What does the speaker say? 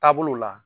Taabolo la